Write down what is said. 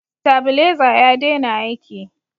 stabileza ya dena aiki